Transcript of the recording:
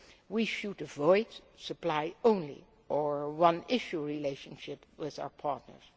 We should avoid supply only or one issue relationships with our partners.